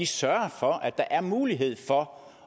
sørger for at der er mulighed for